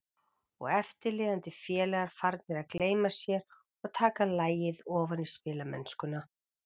Og eftirlifandi félagar farnir að gleyma sér og taka lagið ofan í spilamennskuna.